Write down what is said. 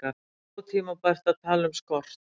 Ótímabært að tala um skort